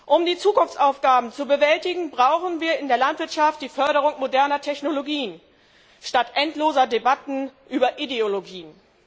Um die Zukunftsaufgaben zu bewältigen, brauchen wir in der Landwirtschaft die Förderung moderner Technologien statt endloser Debatten über Ideologien.